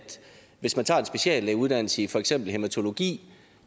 hvis man tager en speciallægeuddannelse i for eksempel hæmatologi